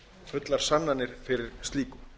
fullar sannanir fyrir slíku